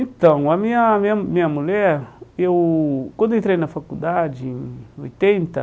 Então, a minha minha minha mulher, eu quando eu entrei na faculdade, em oitenta,